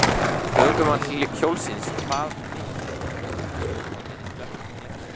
Ökumann hjólsins kvað vitnið hafa verið dökkklæddan.